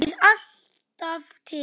Það birtir alltaf til.